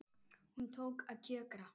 Hún tók að kjökra.